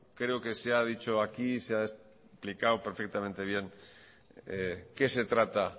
creo que se ha dicho aquí se ha explicado perfectamente qué se trata